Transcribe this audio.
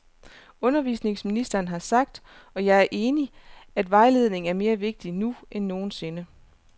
Undervisningsministeren har sagt, og jeg er enig, at vejledning er mere vigtig nu end nogen sinde.